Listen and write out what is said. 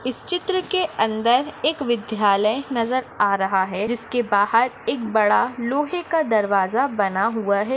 इस चित्र के अंदर एक विद्यालय नजर आ रहा है जिसके बाहर एक बड़ा लोहे का दरवाजा बना हुआ है।